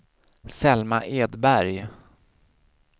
Selma Edberg